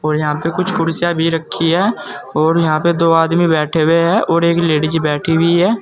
और यहां पे कुछ कुर्सीयां भी रखी है और यहां पे दो आदमी बैठे हुए हैं और एक लेडिस बैठी हुई है।